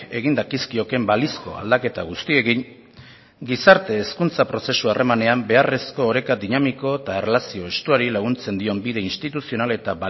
egin dakizkioken balizko aldaketa guztiekin gizarte hezkuntza prozesu harremanean beharrezko oreka dinamiko eta erlazio estuari laguntzen dion bide instituzional eta